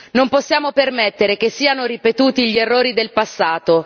Non possiamo permettere che siano ripetuti gli errori del passato.